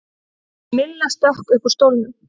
Milla stökk upp úr stólnum.